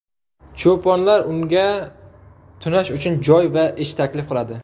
Cho‘ponlar unga tunash uchun joy va ish taklif qiladi.